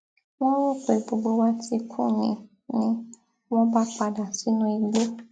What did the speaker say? wọn rò pé gbogbo wa ti kú ni ni wọn bá padà sínú igbó